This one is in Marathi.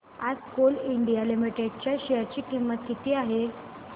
आज कोल इंडिया लिमिटेड च्या शेअर ची किंमत किती आहे